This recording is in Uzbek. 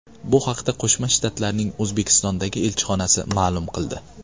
Bu haqda Qo‘shma Shtatlarning O‘zbekistondagi elchixonasi ma’lum qildi .